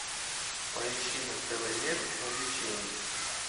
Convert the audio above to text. поищи на тв мир увлечений